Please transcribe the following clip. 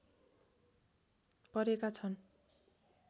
परेका छन्